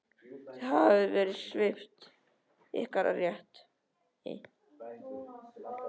Þið hafið verið svipt ykkar rétti.